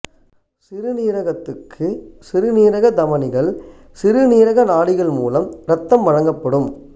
சிறுநீரகத்துக்கு சிறுநீரக தமனிகள் சிறுநீரக நாடிகள் மூலம் இரத்தம் வழங்கப்படும்